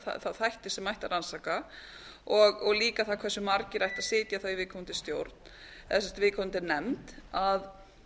þá þætti sem ætti að rannsaka og líka það hversu aðrir ættu að ætla að viðkoamndis stjórn eða viðkomandi enn